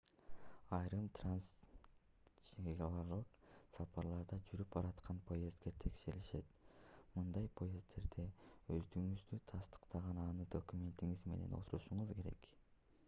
айрым трансчегаралык сапарларда жүрүп бараткан поездде текшеришет мындай поезддерде өздүгүңүздү тастыктаган анык документиңиз менен отурушуңуз керек